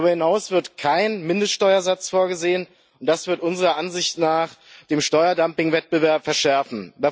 Darüber hinaus ist kein Mindeststeuersatz vorgesehen, und das wird unserer Ansicht nach den Steuerdumpingwettbewerb verschärfen.